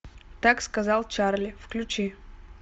так сказал чарли включи